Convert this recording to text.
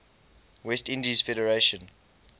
west indies federation